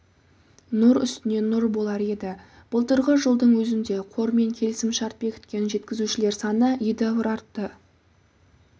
нұр үстіне нұр болар еді былтырғы жылдың өзінде қормен келісімшарт бекіткен жеткізушілер саны едәуір артты